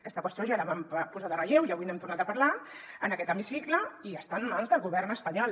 aquesta qüestió ja la vam posar en relleu i avui n’hem tornat a parlar en aquest hemicicle i està en mans del govern espanyol